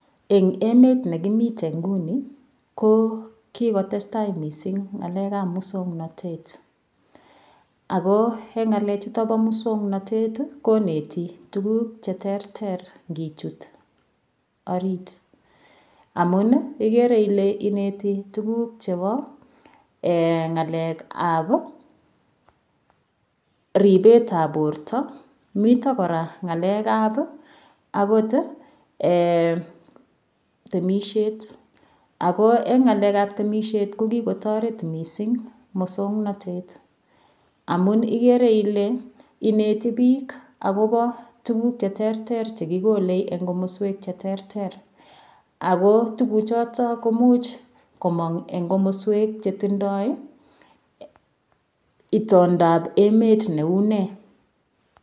Eng emet nekimiten nguni ko kikotestai mising ng'alek ap musongnotet ako eng ngalechuto bo muswongnotet koneti tukuk che ter ter ngichut orit amun igere ile ineti tukuk chebo ng'alek ap ribet ap borto mito kora ng'alek ap akot temisiet ako eng ng'alek ap temisiet ko kikotoret missing musongnotet amun igere ile ineti biik akobo tukuk che ter ter chekikole eng komoswek che ter ter ako tukuchoto ko muuch komong eng komoswek che tindoi itondap emet neu ne